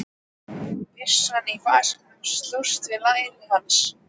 Byssan í vasanum slóst við læri hans.